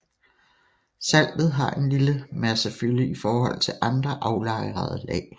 Saltet har en lille massefylde i forhold til andre aflejrede lag